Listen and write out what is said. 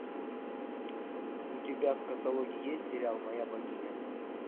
у тебя в каталоге есть сериал моя богиня